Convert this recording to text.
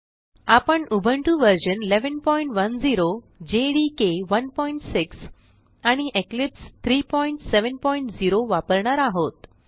आपण उबुंटू व्ह 1110 जेडीके 16 आणि इक्लिप्स 370 वापरणार आहोत